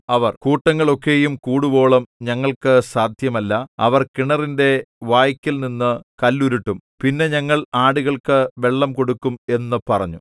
അവർ കൂട്ടങ്ങൾ ഒക്കെയും കൂടുവോളം ഞങ്ങൾക്കു സാദ്ധ്യമല്ല അവർ കിണറിന്റെ വായ്ക്കൽനിന്നു കല്ലുരുട്ടും പിന്നെ ഞങ്ങൾ ആടുകൾക്കു വെള്ളം കൊടുക്കും എന്നു പറഞ്ഞു